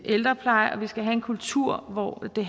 ældrepleje og vi skal have en kultur hvor det